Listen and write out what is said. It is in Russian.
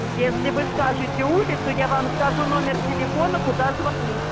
если вы скажете улицу я вам скажу номер телефона куда звонить